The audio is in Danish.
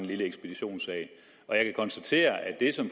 lille ekspeditionssag jeg kan konstatere